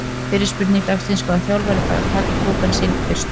Fyrri spurning dagsins: Hvaða þjálfari fær að taka pokann sinn fyrstur?